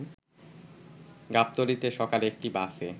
গাবতলীতে সকালে একটি বাসে